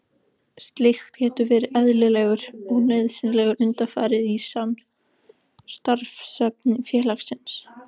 Slíkt getur verið eðlilegur og nauðsynlegur undanfari í starfsemi félagsins.